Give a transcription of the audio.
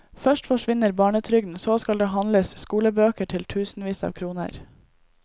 Først forsvinner barnetrygden, så skal det handles skolebøker til tusenvis av kroner.